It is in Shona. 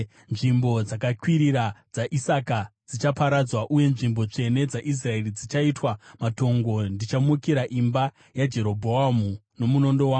“Nzvimbo dzakakwirira dzaIsaka dzichaparadzwa, uye nzvimbo tsvene dzaIsraeri dzichaitwa matongo; ndichamukira imba yaJerobhoamu nomunondo wangu.”